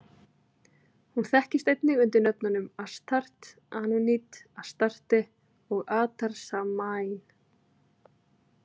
Hún þekkist einnig undir nöfnunum Ashtart, Anunit, Astarte, og Atarsamain.